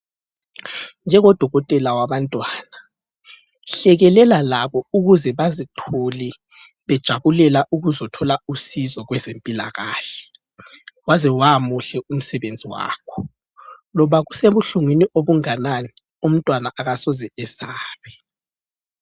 Njengo dokotela wabantwana hlekelela labo ukuze bazithole bejabulela ukuzothola usizo kwezempilakahle. Waze wamuhle umsebenzi wakho. Loba kusebuhlungwini obungakanani umntwana akasoze esabe.